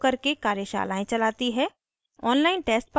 spoken tutorials का उपयोग करके कार्यशालाएं चलाती है